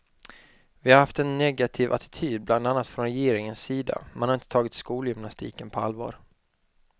Vi har haft en negativ attityd bland annat från regeringens sida, man har inte tagit skolgymnastiken på allvar.